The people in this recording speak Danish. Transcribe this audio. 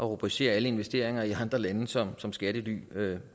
rubricere alle investeringer i andre lande som som skattelypenge